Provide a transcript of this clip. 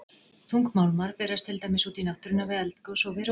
Þungmálmar berast til dæmis út í náttúruna við eldgos og við rof.